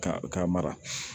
Ka ka mara